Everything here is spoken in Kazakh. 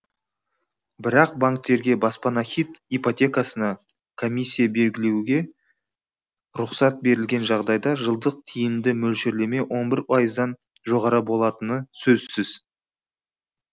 бірақ банктерге баспана хит ипотекасына комиссия белгілеуге рұқсат берілген жағдайда жылдық тиімді мөлшерлеме он бір пайыздан жоғары болатыны сөзсіз